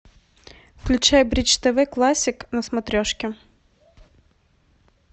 включай бридж тв классик на смотрешке